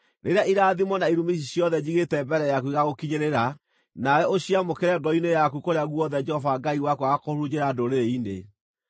Rĩrĩa irathimo na irumi ici ciothe njigĩte mbere yaku igaagũkinyĩrĩra, nawe ũciamũkĩre ngoro-inĩ yaku kũrĩa guothe Jehova Ngai waku agaakũhurunjĩra ndũrĩrĩ-inĩ,